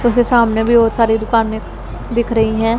मुझे सामने भी बहोत सारी दुकानें दिख रही हैं।